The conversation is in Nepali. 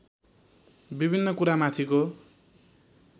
विभिन्न कुरामाथिको